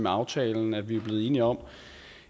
aftalen at vi er blevet enige om